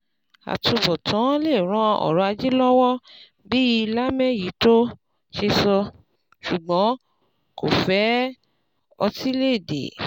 Àtubọ̀tán lè ran ọrọ̀ ajé lọ́wọ́ bí lámèyítọ́ ṣe sọ, ṣùgbọ́n kò fẹ otílẹ̀èdè.